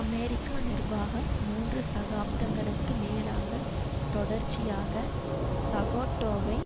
அமெரிக்க நிர்வாகம் மூன்று சகாப்தங்களுக்கு மேலாக தொடர்ச்சியாக சகோட்டோவை